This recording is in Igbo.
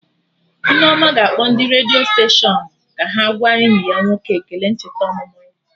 Nneoma ga-akpọ ndị redio steshọnụ ka ha gwa enyi ya nwoke ekele ncheta ọmụmụ ya